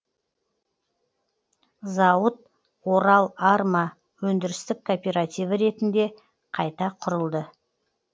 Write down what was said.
зауыт орал арма өндірістік кооперативі ретінде қайта құрылды